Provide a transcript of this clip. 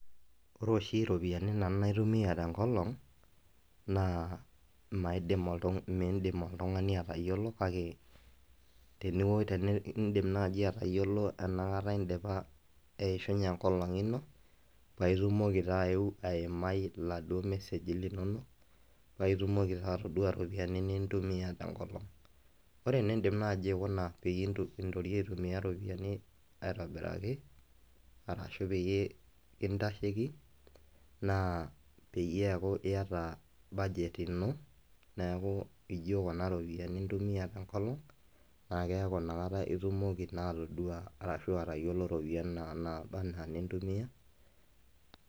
Ore oshi ropiyiani nanu naitumia tenkolong', naa maidim oltung'ani midim oltung'ani atayiolo kake tenidim nai atayiolo enakata dipa eishunye enkolong' ino, paa itumoki taa ayeu aimai iladuo meseji linonok, paitumoki taa atodua iropiyiani nintumia tenkolong. Ore enidim naji aikuna peyie intorio aitumia iropiyiani aitobiraki, arashu peyie kintasheki, naa peyie eku iyata budget ino, neeku ijo kuna ropiyiani intumia tenkolong', na keeku nakata itumoki naa atodua arashu atayiolo ropiyiani naa naba enaa inintumia.